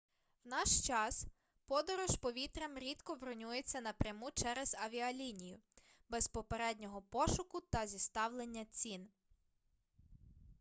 в наш час подорож повітрям рідко бронюється напряму через авіалінію без попереднього пошуку та зіставлення цін